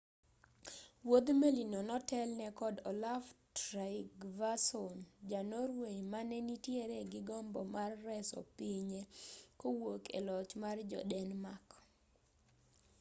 wuodh meli no notelne kod olaf trygvason ja-norway mane nitiere gi gombo mar reso pinye kowuok e loch mar jo-denmark